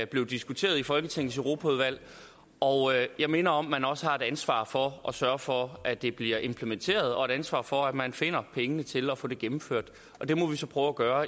blev diskuteret i folketingets europaudvalg og jeg minder om at man også har et ansvar for at sørge for at det bliver implementeret og et ansvar for at man finder pengene til at få det gennemført og det må vi så prøve at gøre